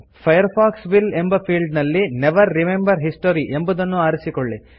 Firefox will ಎಂಬ field ನಲ್ಲಿ never remember history ಎಂಬುದನ್ನು ಆರಿಸಿಕೊಳ್ಳಿ